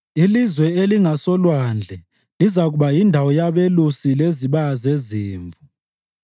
Ilizwe elingasolwandle lizakuba yindawo yabelusi lezibaya zezimvu.